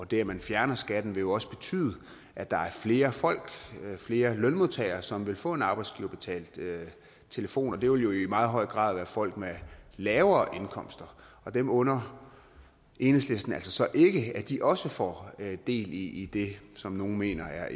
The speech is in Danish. det at man fjerner skatten vil jo også betyde at der er flere folk flere lønmodtagere som vil få en arbejdsgiverbetalt telefon det vil jo i meget højere grad være folk med lavere indkomster og dem under enhedslisten altså ikke at de også får del i det som nogle mener er